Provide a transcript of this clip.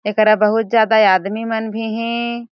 एकरा बहुत ज्यादा आदमी मन भी हे।